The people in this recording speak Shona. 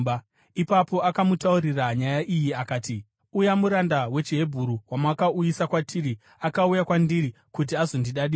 Ipapo akamutaurira nyaya iyi akati, “Uya muranda wechiHebheru wamakauyisa kwatiri akauya kwandiri kuti azondidadira.